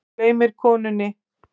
Hún gleymir konunni.